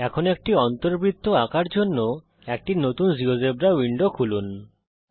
এখন একটি অন্তবৃত্ত আঁকার জন্যে একটি নতুন জীয়োজেব্রা উইন্ডো খুলুন